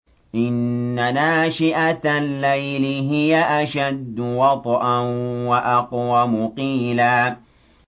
إِنَّ نَاشِئَةَ اللَّيْلِ هِيَ أَشَدُّ وَطْئًا وَأَقْوَمُ قِيلًا